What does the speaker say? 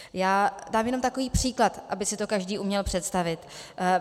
Já dám jenom takový příklad, aby si to každý uměl představit.